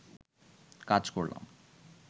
কাজ করলাম